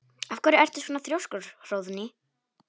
Af hverju ertu svona þrjóskur, Hróðný?